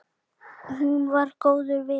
Hún var góður vinur.